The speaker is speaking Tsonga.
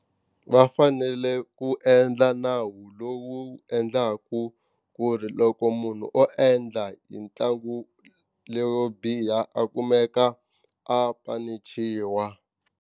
Va fanele ku endla nawu lowu endlaku ku ri loko munhu o endla hi ntlangu leyo biha a kumeka a panichiwa.